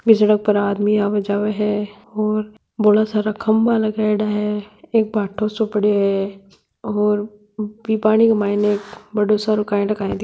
बी सड़क पर आदमी आव जाव है और बोला सारा खंबा लगायेड़ा है एक बाटों सो पड़ो है और बी पानी के माइन बड़ों सारों कई न काय --